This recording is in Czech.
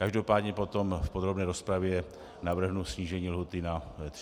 Každopádně potom v podrobné rozpravě navrhnu snížení lhůty na 30 dnů.